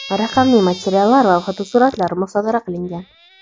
raqamli materiallar va fotosuratlar musodara qilingan.